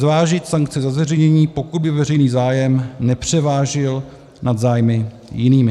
Zvážit sankce za zveřejnění, pokud by veřejný zájem nepřevážil nad zájmy jinými.